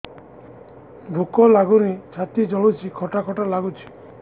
ଭୁକ ଲାଗୁନି ଛାତି ଜଳୁଛି ଖଟା ଖଟା ଲାଗୁଛି